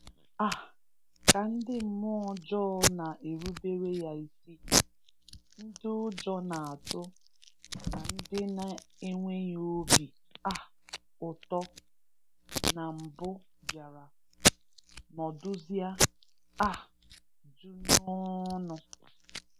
um Ka ndị mmụọ ọjọọ na-erubere Ya isi, ndị ụjọ na-atụ na ndị na-enweghị obi um ụtọ na mbụ bịara nọdụzịa um jụụ n’ọṅụ.